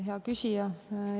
Hea küsija!